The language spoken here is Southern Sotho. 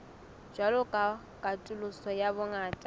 jwalo ka katoloso ya bongata